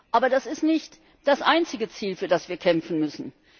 Aber das ist nicht das einzige Ziel, für das wir kämpfen müssen.